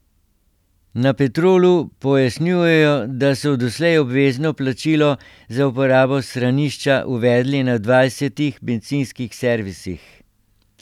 Na Petrolu pojasnjujejo, da so doslej obvezno plačilo za uporabo stranišča uvedli na dvajsetih bencinskih servisih.